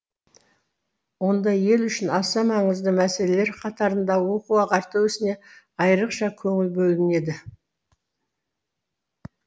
онда ел үшін аса маңызды мәселелер қатарында оқу ағарту ісіне айырықша көңіл бөлінеді